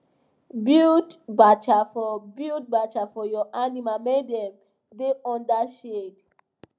build bacha for build bacha for your animal make dem da under shade